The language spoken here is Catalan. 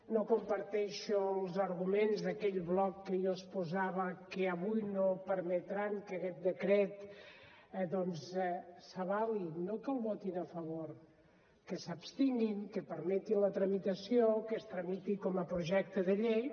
no comparteixo els arguments d’aquell bloc que jo exposava que avui no permetran que aquest decret doncs s’avali no que el votin a favor que s’abstinguin que permetin la tramitació que es tramiti com a projecte de llei